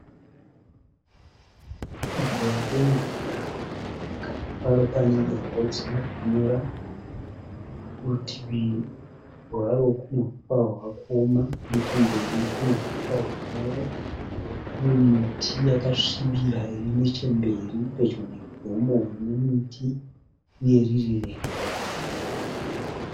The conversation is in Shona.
Dziwa remvura pakati paro pane dombo risina kunyura kurutivi rwaro kune huswa hwakuoma nechemberi kune huswa hunyoro kune miti yakasvibira iri nechemberi pedyo negomo rine miti uye riri rebwe